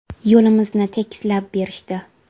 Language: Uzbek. Yo‘limizni tekislab berishdi.